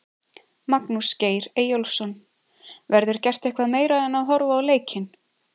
Magnús Geir Eyjólfsson: Verður gert eitthvað meira en horfa á leikinn?